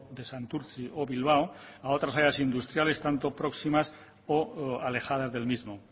de santurtzi o bilbao a otra áreas industriales tanto próximas o alejadas del mismo